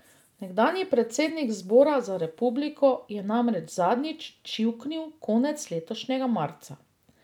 Nekdanji predsednik Zbora za republiko je namreč zadnjič čivknil konec letošnjega marca.